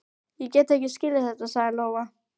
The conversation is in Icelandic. Ég get ekki skilið þetta, sagði Lóa.